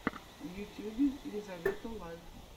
в ютьюбе лизавета лайф